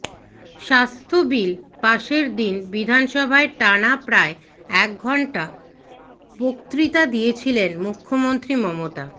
স্বাস্থ্য বিল পাশের দিন বিধানসভায় টানা প্রায় এক ঘণ্টা বক্তৃতা দিয়েছিলেন মুখ্যমন্ত্রী মমতা